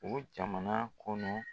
O jamana kɔnɔ